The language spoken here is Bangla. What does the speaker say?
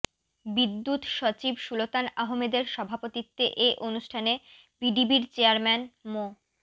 বিদ্যুৎ সচিব সুলতান আহমেদের সভাপতিত্বে এ অনুষ্ঠানে পিডিবির চেয়ারম্যান মো